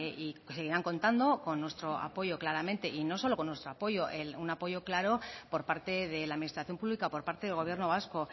y seguirán contando con nuestro apoyo claramente y no solo con nuestro apoyo un apoyo claro por parte de la administración pública por parte del gobierno vasco